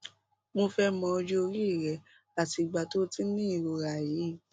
mo fẹ mọ ọjọ orí rẹ àti ìgbà tó o ti ń ní ìrora yìí